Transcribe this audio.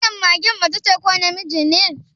Wannan magen macece ko namiji ne?